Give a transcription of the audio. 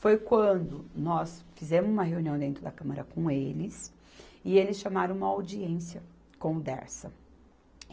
Foi quando nós fizemos uma reunião dentro da Câmara com eles, e eles chamaram uma audiência com o Dersa.